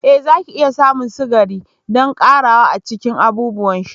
Ee zaki iya samun sukari don ƙarawa a cikin abubuwan sha.